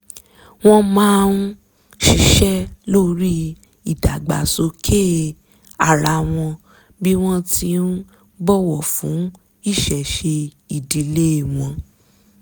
wọ́n máa ń ṣíṣẹ́ lórí ìdàgbàsókè ara wọn bí wọ́n ti ń bọ̀wọ̀ fún ìṣẹ̀ṣe ìdílé wọn